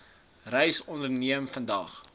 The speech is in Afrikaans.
reis onderneem vandag